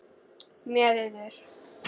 Með yður!